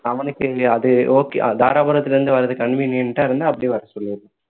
அவனுக்கு அது okay தாராபுரத்துல இருந்து வர்றது convenient டா இருந்தா அப்படியே வர சொல்லிரு